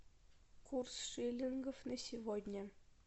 курс шиллингов на сегодня